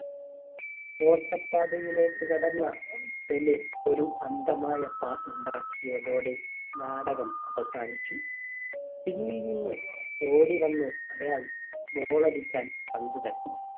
വേട്ട പാതയിലേക്ക് കടന്ന പെലെ ഒരു അന്ധമായ pass ഉണ്ടാക്കിയതോടെ നാടകം അവസാനിച്ചു. പിന്നിൽ നിന്ന് ഓടി വന്ന് അയാൾ goal അടിക്കാൻ പന്ത് തട്ടി.